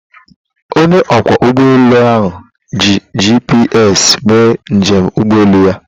Onye ọkwọ ụgbọ elu ahụ ji GPS mee njem ụgbọelu ya.